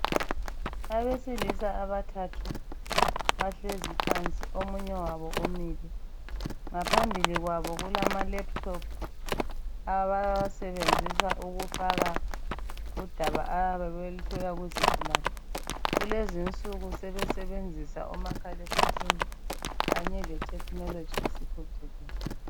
Abesilisa abathathu bahlezi phansi omunye wabo umile ngaphambili kwabo kulamalaphuthophu abawasebenzisa ukufaka undaba abayabe beluthola kuzigulane kulezinsuku sebesenzisa omakhala ekhukwini kanye letechnology isiphucukile.